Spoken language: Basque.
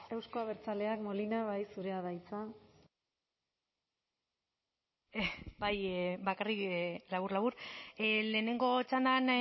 euzko abertzaleak molina bai zurea da hitza bai bakarrik labur labur lehenengo txandan